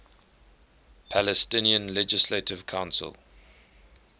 palestinian legislative council